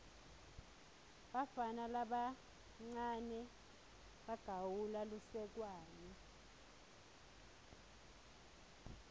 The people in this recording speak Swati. bafana labancawe bagawula lusekwane